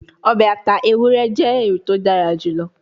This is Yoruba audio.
Obe ata eran ewurẹ jẹ eyiti o dara julọ